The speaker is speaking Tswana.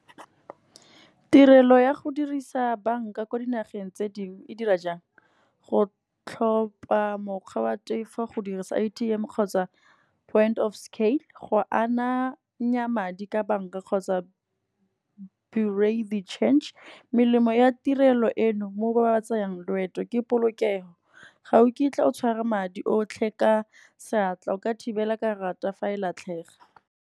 Tirelo ya go dirisa bank-a ko dinageng tse dingwe e dira jang, go tlhopha mokgwa wa tefo, go dirisa A_T_M kgotsa point of scale. Go ananya madi ka bank-a kgotsa , melemo ya tirelo eno mo ba ba tsayang loeto, ke polokego. Ga o kitla o tshwara madi otlhe ka seatla, o ka thibela karata fa e latlhega.